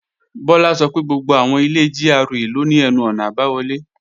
Bọ́lá sọ pé gbogbo àwọn ilé GRA ló ní ẹnu-ọ̀nà àbáwọlé